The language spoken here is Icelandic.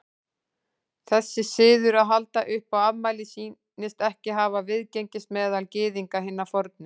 Þessi siður að halda upp á afmæli sýnist ekki hafa viðgengist meðal Gyðinga hinna fornu.